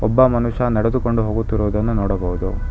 ಒಬ್ಬ ಮನುಷ್ಯ ನಡೆದುಕೊಂಡು ಹೋಗುತ್ತಿರುವುದನ್ನು ನೋಡಬಹುದು.